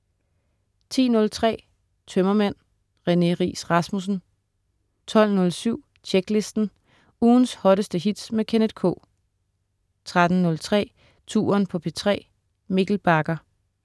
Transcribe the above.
10.03 Tømmermænd. René Riis Rasmussen 12.07 Tjeklisten. Ugens hotteste hits med Kenneth K 13.03 Touren på P3. Mikkel Bagger